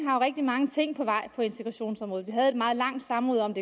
har rigtig mange ting på vej på integrationsområdet vi havde et meget langt samråd om